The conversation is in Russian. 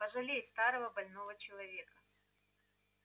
пожалей старого больного человека